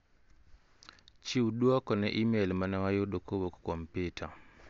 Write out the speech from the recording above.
Chiw duoko ne imel mane wayudo kowuok kuom Peter.